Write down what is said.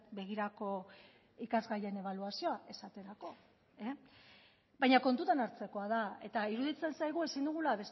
begirako ikasgaien ebaluazioa esaterako baina kontutan hartzekoa da eta iruditzen zaigu ezin dugula